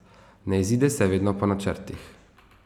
Ne izide se vedno po načrtih.